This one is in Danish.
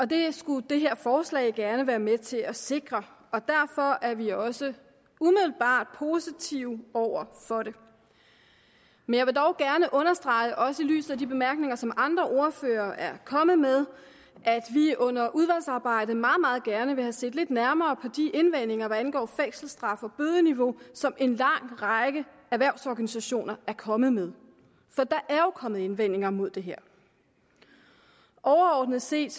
det skulle det her forslag gerne være med til at sikre og derfor er vi også umiddelbart positive over for det men jeg vil dog gerne understrege også i lyset af de bemærkninger som andre ordførere er kommet med at vi under udvalgsarbejdet meget meget gerne vil have set lidt nærmere på de indvendinger hvad angår fængselsstraf og bødeniveau som en lang række erhvervsorganisationer er kommet med for der er jo kommet indvendinger imod det her overordnet set